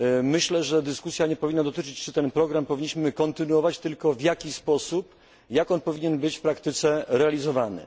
Myślę, że dyskusja nie powinna dotyczyć tego, czy ten program powinniśmy kontynuować, tylko tego, jak on powinien być w praktyce realizowany.